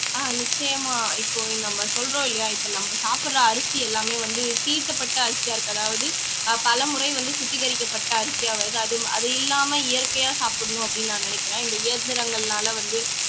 ஆஹ் நிச்சயமா இப்போ நம்ம சொல்றோம் இல்லையா இப்போ நம்ம சாப்பிடுற அரிசி எல்லாமே வந்து தீட்டப்பட்ட அரிசியா இருக்கு அதாவது ஆஹ் பலமுறை வந்து சுத்திகரிக்கப்பட்ட அரிசியா வருது அது அது இல்லாம இயற்கையா சாப்பிடணும் அப்படின்னு நான் நினைக்கிறேன் இந்த இயந்திரங்கள்னாலே வந்து